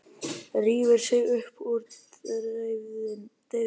Rífur sig upp úr deyfðinni.